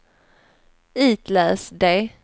itläs det